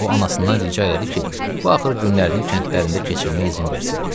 O anasından rica elədi ki, axır günlərini kəndlərində keçirməyə izin versin.